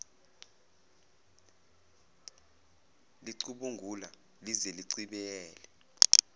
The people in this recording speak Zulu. licubungula lize lichibiyele